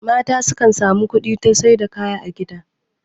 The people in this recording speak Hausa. mata kan samu kudi ta Saida kaya a gida